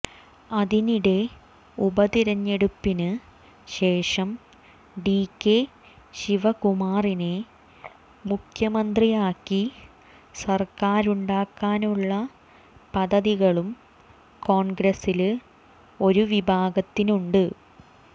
അതിനിടെ ഉപതിരഞ്ഞെടുപ്പിന് ശേഷം ഡികെ ശിവകുമാറിനെ മുഖ്യ മന്ത്രിയാക്കി സര്ക്കാരുണ്ടാക്കാനുളള പദ്ധതികളും കോണ്ഗ്രസില് ഒരു വിഭാഗ ത്തിനുണ്ട്